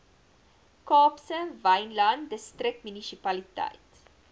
kaapse wynland distriksmunisipaliteit